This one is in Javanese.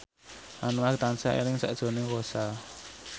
Anwar tansah eling sakjroning Rossa